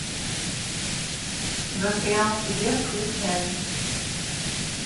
застрял в тебе включай